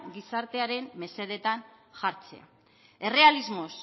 gizartearen mesedetan jartzea errealismoz